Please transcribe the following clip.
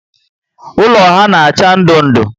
Ụlọ ha na acha ndụ ndụ